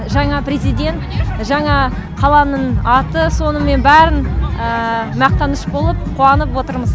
жаңа президент жаңа қаланың аты сонымен бәрін мақтаныш болып қуанып отырмыз